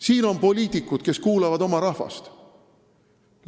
Seal on poliitikud, kes kuulavad oma rahvast.